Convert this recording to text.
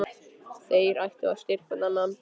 Þeir ættu að styrkja hver annan.